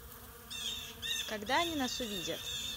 когда они нас увидят